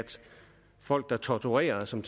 folk der torturerer som